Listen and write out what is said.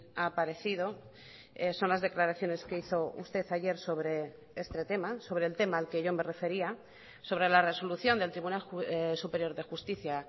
ha aparecido son las declaraciones que hizo usted ayer sobre este tema sobre el tema al que yo me refería sobre la resolución del tribunal superior de justicia